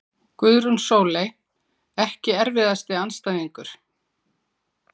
Guðrún Sóley Ekki erfiðasti andstæðingur?